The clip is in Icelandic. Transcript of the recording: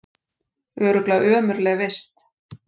Örugglega ömurleg vist